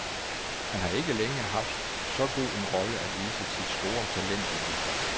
Han har ikke længe har haft så god en rolle at vise sit store talent i.